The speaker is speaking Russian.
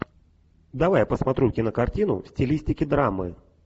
давай посмотрю кинокартину в стилистике драмы